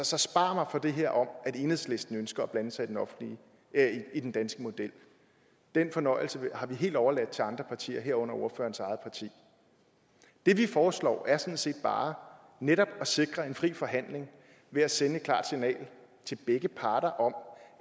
så spar mig for det her om at enhedslisten ønsker at blande sig i den danske model den fornøjelse har vi helt overladt til andre partier herunder ordførerens eget parti det vi foreslår er sådan set bare netop at sikre en fri forhandling ved at sende et klart signal til begge parter om